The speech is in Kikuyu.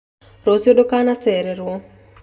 Rũciũ ndũkanacererwo